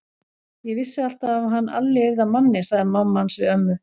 Ég vissi alltaf að hann Alli yrði að manni, sagði mamma hans við ömmu.